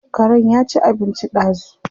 Karen ya ci abinci ɗazu.